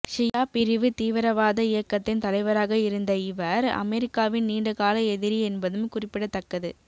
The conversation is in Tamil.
ஷியா பிரிவு தீவிரவாத இயக்கத்தின் தலைவராக இருந்த இவர் அமெரிக்காவின் நீண்டகால எதிரி என்பதும் குறிப்பிடத்தக்கது